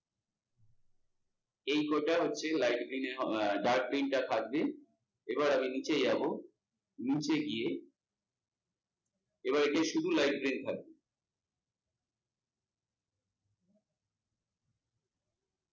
এই কটা হচ্ছে light green dark green টা থাকবে। এবার আমি নিচে যাবো নিচে গিয়ে, এবার এটা শুধু light green থাকবে।